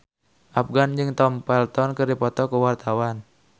Afgan jeung Tom Felton keur dipoto ku wartawan